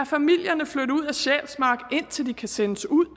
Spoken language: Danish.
familierne flytte ud af sjælsmark indtil de kan sendes ud